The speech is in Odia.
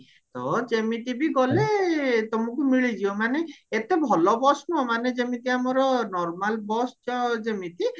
ତ ଯେମିତି ବି ଗଲେ ତମକୁ ବି ମିଳିଯିବ ଏତେ ଭଲ bus ନୁହ ମାନେ ଯେମିତି ଆମର normal busଟା ଯେମିତି